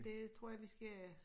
Det tror jeg vi skal